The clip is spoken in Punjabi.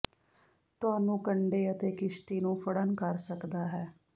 ਤੁਹਾਨੂੰ ਕੰਢੇ ਅਤੇ ਕਿਸ਼ਤੀ ਨੂੰ ਫੜਨ ਕਰ ਸਕਦਾ ਹੈ